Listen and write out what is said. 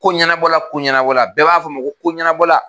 Ko ɲɛnabɔla ko ɲɛnabɔla bɛɛ b'a fɔ ma ko ɲɛnabɔla